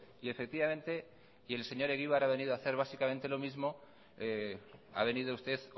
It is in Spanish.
y efectivamente y el señor egibar ha venido a hacer básicamente lo mismo ha venido usted